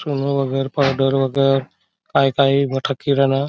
सुन वगर पावडर वगर काई काई बठ किराना--